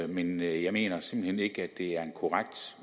men jeg jeg mener simpelt hen ikke at det er en korrekt